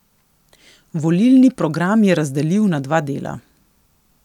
Volilni program je razdelil na dva dela.